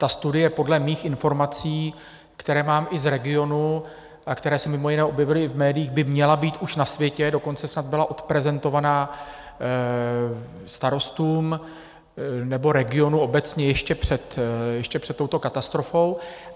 Ta studie podle mých informací, které mám i z regionu a které se mimo jiné objevily i v médiích, by měla být už na světě, dokonce snad byla odprezentovaná starostům nebo regionu obecně ještě před touto katastrofou.